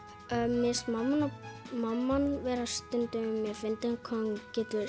mér finnst mamman mamman stundum vera fyndin hvað hún getur